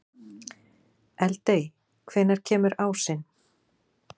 Eldey, hvenær kemur ásinn?